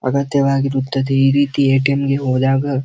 ಅಗತ್ಯವಾಗಿರುತ್ತದೆ ಈ ರೀತಿ ಎ.ಟಿ.ಎಮ್ ಗೆ ಹೋದಾಗ--